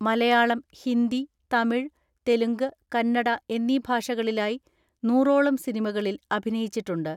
മലയാളം, ഹിന്ദി, തമിഴ്, തെലുങ്ക്, കന്നട എന്നീ ഭാഷകളിലായി നൂറോളം സിനിമകളിൽ അഭിനയിച്ചിട്ടുണ്ട്.